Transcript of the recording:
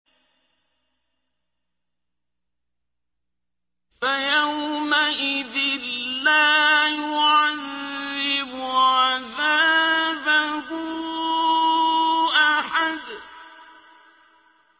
فَيَوْمَئِذٍ لَّا يُعَذِّبُ عَذَابَهُ أَحَدٌ